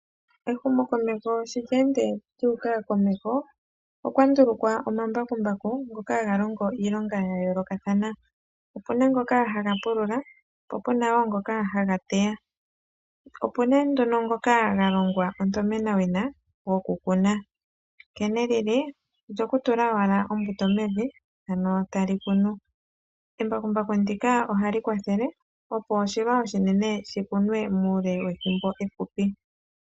Ehumokomeho sho lye ende lyuuka komeho, okwa ndulukwa omambakumbaku ngoka haga longo iilonga ya yoolokathana. Opu na ngoka haga pulula, opu na wo ngoka haga teya. Opu na nduno ngoka ga longwa onomenawina, gokukuna, nkene li li, olyokutula owala ombuto mevi, ano tali kunu. Embakumbaku ndika ohali kwathele, opo oshilwa oshinene shi kunwe muule wethimbo efupi.